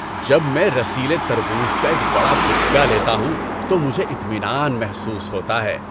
جب میں رسیلے تربوز کا ایک بڑا بچکا لیتا ہوں تو مجھے اطمینان محسوس ہوتا ہے۔